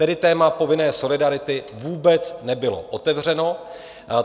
Tedy téma povinné solidarity vůbec nebylo otevřeno.